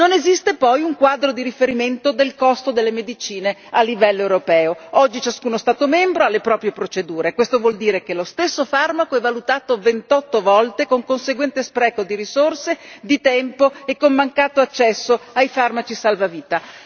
Non esiste poi un quadro di riferimento del costo delle medicine a livello europeo, oggi ciascuno Stato membro ha le proprie procedure, questo vuol dire che lo stesso farmaco è valutato 28 volte con conseguente spreco di risorse, di tempo, e col mancato accesso ai farmaci salvavita.